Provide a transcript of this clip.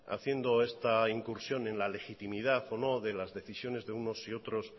haciendo esta incursión en la legitimidad o no de las decisiones de unos y otros